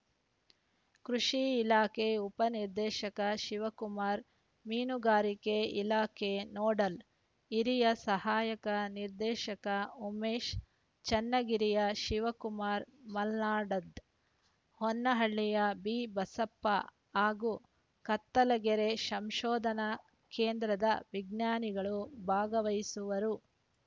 ಕೃಷಿ ಇಲಾಖೆ ಉಪ ನಿರ್ದೇಶಕ ಶಿವಕುಮಾರ ಮೀನುಗಾರಿಕೆ ಇಲಾಖೆ ನೋಡಲ್‌ ಹಿರಿಯ ಸಹಾಯಕ ನಿರ್ದೇಶಕ ಉಮೇಶ ಚನ್ನಗಿರಿಯ ಶಿವಕುಮಾರ ಮಲ್ಲಾಡದ್‌ ಹೊನ್ನಾಳಿಯ ಬಿಬಸಪ್ಪ ಹಾಗೂ ಕತ್ತಲಗೆರೆ ಸಂಶೋಧನಾ ಕೇಂದ್ರದ ವಿಜ್ಞಾನಿಗಳು ಭಾಗವಹಿಸುವರು